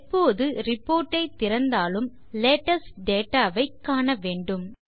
எப்போது ரிப்போர்ட் ஐ திறந்தாலும் லேட்டெஸ்ட் dataவை காண வேண்டும்